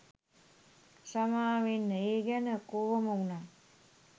සමාවෙන්න ඒ ගැන කොහොම වුනත්